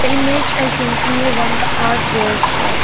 image i can see one hardware shop.